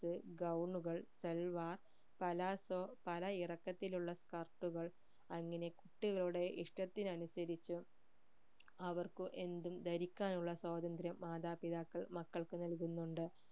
അത് gown salwar palazzo പല ഇറക്കത്തിൽ ഉള്ള skirt കൾ അങ്ങനെ കുട്ടികളുടെ ഇഷ്ട്ടത്തിനനുസരിച് അവർക്ക് എന്തും ധരിക്കാനുള്ള സ്വാതത്ര്യം മാതാപിതാക്കൾ മക്കൾക്ക് നൽകുന്നുണ്ട്